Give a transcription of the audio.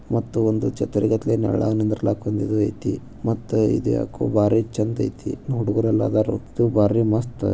ಮತ್ತು ಒಂದು ಛತ್ರದಾಗ ನೆಲ್ಲಗ್ ನಿದ್ರಲಕ್ ಮತ್ತೆ ಇದು ಯಾಕೋ ಬಾರಿ ಚಂದಾ ಅಯ್ತಿ ಹುಡಗೂರ ಎಲ್ಲ ಅದಾರ ಬಾರಿ ಮಸ್ತ್.